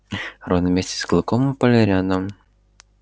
рон вместе с клыком упали рядом